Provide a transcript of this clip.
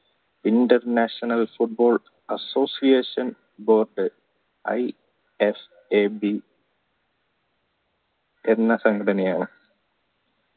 international football association boardIFAB എന്ന സംഘടനയാണ്